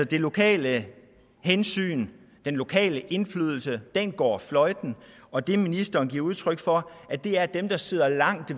det lokale hensyn den lokale indflydelse går fløjten og det ministeren giver udtryk for er at dem der sidder langt